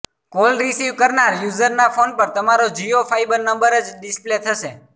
call receive કરનાર યુઝરના phone પર તમારો જિયો ફાયબર નંબર જ ડિસ્પ્લે થશે